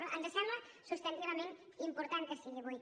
però ens sembla substantivament important que sigui avui